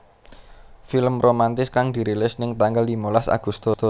Film romantis kang dirilis ning tanggal limolas Agustus